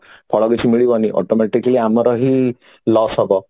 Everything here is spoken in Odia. ଫଳ କିଛି ମିଳିବନି automatically ଆମର ହିଁ loss ହବ